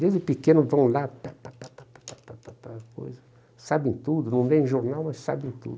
Desde pequenos vão lá, pá pá pá pá pá pá pá pá pá aquela coisa, sabem tudo, não lêem jornal, mas sabem tudo.